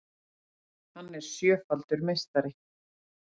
Hann er sjöfaldur meistari